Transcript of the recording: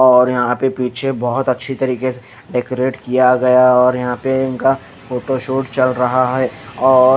और यहाँ पे पीछे बहुत अच्छी तरीके से डेकोरेट किया गया और यहाँ पे इनका फोटोशूट चल रहा है।